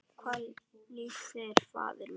Hvað líst þér, faðir minn?